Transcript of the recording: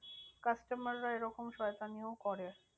Customer রা এরকম শয়তানিও করে।